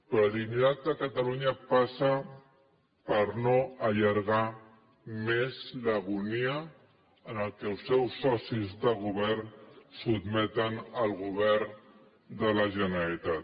la dignitat de catalunya passa per no allargar més l’agonia a què els seus socis de govern sotmeten el govern de la generalitat